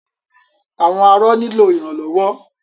Àwọn arọ nílò ìrànlọ́wọ́.